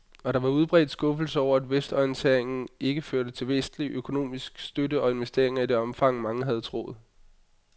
Og der var udbredt skuffelse over, at vestorienteringen ikke førte til vestlig økonomisk støtte og investeringer i det omfang, mange havde troet.